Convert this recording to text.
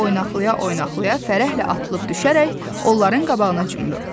Dərhal oynaqalaya-oynaqlaya fərəhlə atılıb düşərək onların qabağına cumdu.